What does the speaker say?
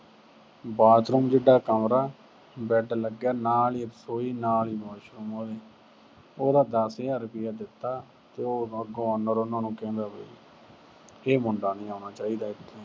bathroom ਜਿੱਡਾ ਕਮਰਾ, bed ਲੱਗਿਆ, ਨਾਲ ਈ ਰਸੋਈ, ਨਾਲ ਈ washroom ਉਹਦੇ। ਉਹਦਾ ਦਸ ਹਜ਼ਾਰ ਰੁਪਇਆ ਦਿੱਤਾ, ਤੇ ਅੱਗੋਂ owner ਉਹਨਾਂ ਨੂੰ ਕਹਿੰਦਾ ਵੀ ਇਹ ਮੁੰਡਾ ਨੀ ਆਉਣਾ ਚਾਹੀਦਾ ਇੱਥੇ।